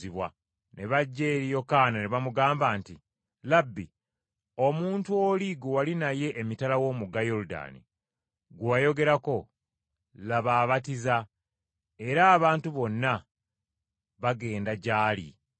Ne bajja eri Yokaana ne bamugamba nti, “Labbi, omuntu oli gwe wali naye emitala w’omugga Yoludaani, gwe wayogerako, laba abatiza era abantu bonna bagenda gy’ali.”